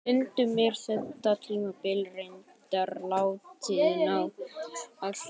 stundum er þetta tímabil reyndar látið ná allt